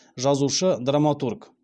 жазушы драматург